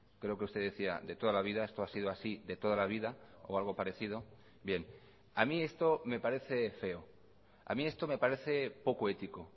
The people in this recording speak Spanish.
creo que usted decía de toda la vida esto ha sido así de toda la vida o algo parecido bien a mí esto me parece feo a mí esto me parece poco ético